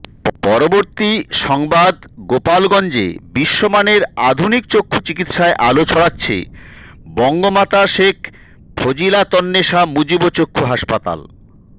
পরবর্তী সংবাদগোপালগঞ্জে বিশ্বমানের আধুনিক চক্ষু চিকিৎসায় আলো ছড়াচ্ছে বঙ্গমাতা শেখ ফজিলাতন্নেসা মুজিব চক্ষু হাসপাতাল